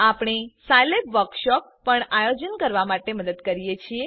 આપણે Scilab workshop પણ આયોજન કરવામાં મદદ કરીએ છીએ